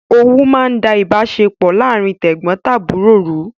Owú máa ń da ìbáṣepọ̀ láàrín tẹ̀gbọntàbúrò rú